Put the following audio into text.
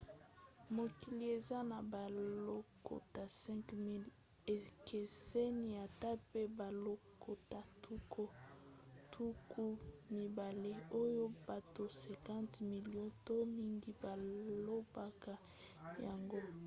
mokili eza na balokota 5 000 ekeseni ata pe balokota tuku mibale oyo bato 50 milio to mingi balobaka yango